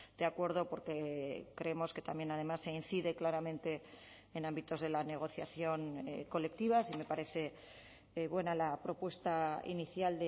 de acuerdo porque creemos que también además se incide claramente en ámbitos de la negociación colectiva sí me parece buena la propuesta inicial